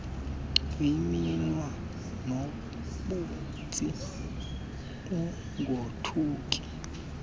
kweminwe noobhontsi ungothuki